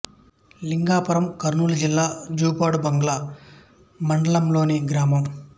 లింగాపురం కర్నూలు జిల్లా జూపాడు బంగ్లా మండలం లోని గ్రామం